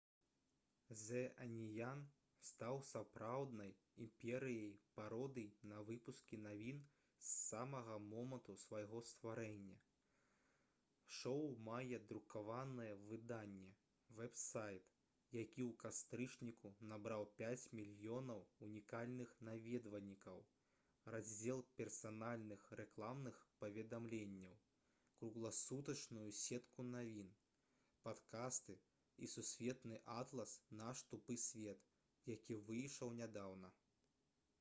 «зэ аніян» стаў сапраўднай імперыяй пародый на выпускі навін з самага моманту свайго стварэння. шоу мае друкаванае выданне вэб-сайт які ў кастрычніку набраў 5 000 000 унікальных наведвальнікаў раздзел персанальных рэкламных паведамленняў кругласутачную сетку навін падкасты і сусветны атлас «наш тупы свет» які выйшаў нядаўна